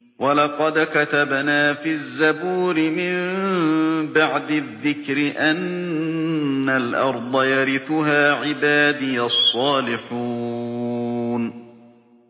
وَلَقَدْ كَتَبْنَا فِي الزَّبُورِ مِن بَعْدِ الذِّكْرِ أَنَّ الْأَرْضَ يَرِثُهَا عِبَادِيَ الصَّالِحُونَ